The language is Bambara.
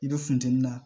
I bɛ funteni na